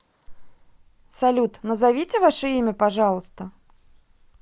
салют назовите ваше имя пожалуйста